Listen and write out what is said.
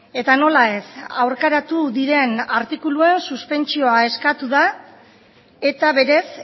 eta nola ez aurkaratu diren artikuluen suspentsioa eskatu da eta berez